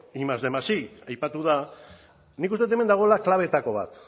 batgarren más bostehun más batgarren aipatu da nik uste dut hemen dagoela klabeetako bat